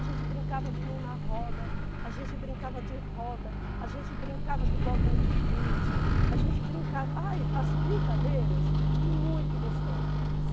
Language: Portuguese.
A gente brincava de mão na roda, a gente brincava de roda, a gente brincava de bolinha de gude, a gente brincava... Ai, as brincadeiras, muito gostosa.